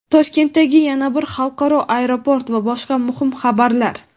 Toshkentdagi yana bir xalqaro aeroport va boshqa muhim xabarlar.